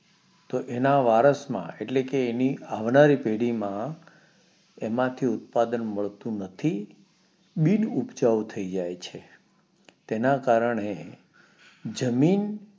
તો એના વારસ માં એટલે કે એની આવનારી પેઢી માં એમાં થી ઉત્પાદન મળતું બિન ઉપજાઉ થઇ જાય છે તેના કારણે જમીન